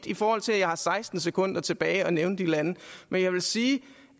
i forhold til at jeg har seksten sekunder tilbage at nævne de lande men jeg vil sige